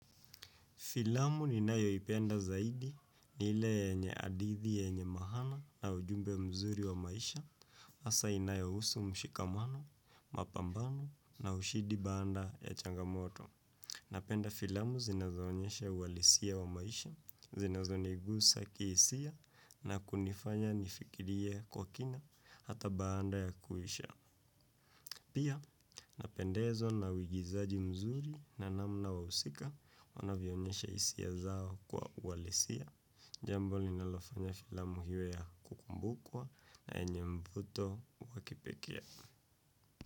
Filamu ninayoipenda zaidi ni ile yenye hadithi yenye mahana na ujumbe mzuri wa maisha hasa inayohusu mshikamano, mapambano na ushidi baanda ya changamoto. Napenda filamu zinazoonyesha uhalisia wa maisha, zinazonigusa kihisia na kunifanya nifikirie kwa kina hata baanda ya kuisha. Pia, napendezwa na uigizaji mzuri na namna wahusika wanavyoonyesha hisia zao kwa uhalisia. Jambo linalofanya filamu iwe ya kukumbukwa na yenye mvuto wa kipekee.